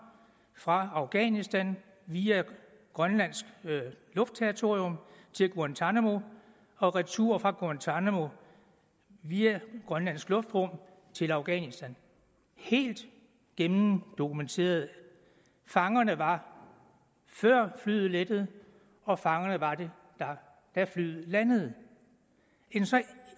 fra afghanistan via grønlands luftterritorium til guantánamo og retur fra guantánamo via grønlands luftrum til afghanistan helt gennemdokumenteret fangerne var der før flyet lettede og fangerne var der da flyet landede en så